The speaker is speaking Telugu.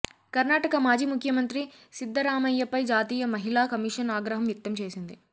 కర్ణాటక మాజీ ముఖ్యమంత్రి సిద్ధరామయ్యపై జాతీయ మహిళా కమిషన్ ఆగ్రహం వ్యక్తం చేసింది